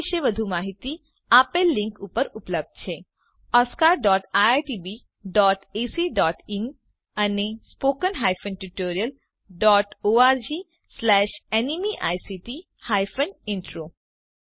આ વિશે વધુ માહિતી આપેલ લીંક પર ઉપલબ્ધ છે oscariitbacઇન અને spoken tutorialorgnmeict ઇન્ટ્રો